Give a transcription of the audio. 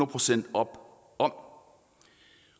procent op om om